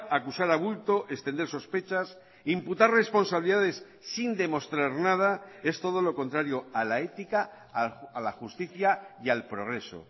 acusar a bulto extender sospechas imputar responsabilidades sin demostrar nada es todo lo contrario a la ética a la justicia y al progreso